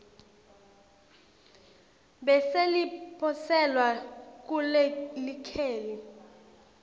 bese liposelwa kulelikheli